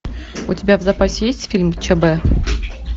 у тебя в запасе есть фильм чб